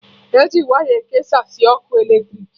Eji waya ekesasị ọkụ eletrik